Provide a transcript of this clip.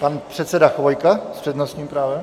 Pan předseda Chvojka s přednostním právem.